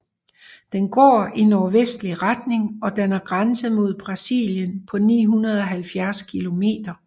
Den går i nordvestlig retning og danner grænse mod Brasilien på 970 kilometer